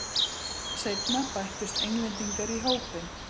Seinna bættust Englendingar í hópinn.